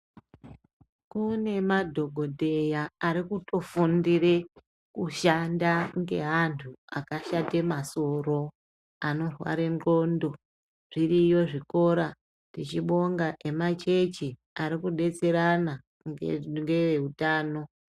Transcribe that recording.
Kunemadhokodheya arikutofundire kushanda nge antu akashate masoro anorarwe ndxondo. Zviriyo zvikora , tichibonga emachechi arikudetserana ngehutano.